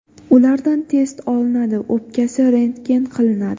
Ulardan test olinadi, o‘pkasi rentgen qilinadi.